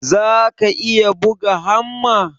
zaka iya buga hamma?